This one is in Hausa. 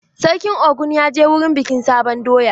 Sarkin Ogun ya je wurin bikin sabon doya?